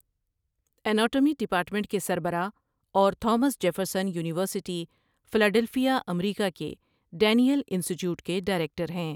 Anatomy department کے سربراہ اور Thomas Jefferson University Philadelphia America کے ڈینیل انسٹی ٹیوٹ کے ڈائریکٹر ہیں ۔